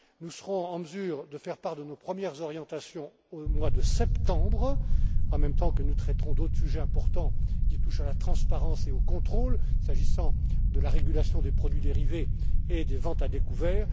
Nous serons en mesure de faire part de nos premières orientations au mois de septembre, en même temps que nous traiterons d'autres sujets importants qui touchent à la transparence et au contrôle, s'agissant de la régulation des produits dérivés et des ventes à découvert.